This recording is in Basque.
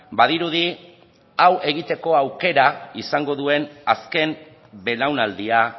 badirudi hau egiteko aukera izango duen azken belaunaldia